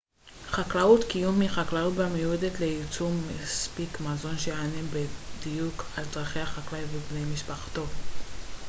חקלאות קיום היא חקלאות המיועדת לייצור מספיק מזון שיענה בדיוק על צרכי החקלאי ובני משפחתו